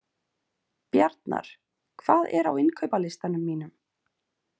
Bjarnar, hvað er á innkaupalistanum mínum?